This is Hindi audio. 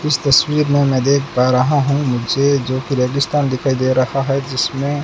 इस तस्वीर में मैं देख पा रहा हूं मुझे जो कि रेगिस्तान दिखाई दे रहा है जिसमें--